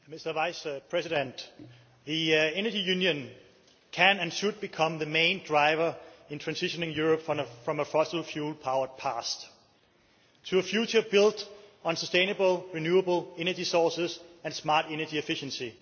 Mr President, the Energy Union can and should become the main driver in transitioning Europe from a fossil fuel powered past to a future built on sustainable, renewable energy sources and smart energy efficiency.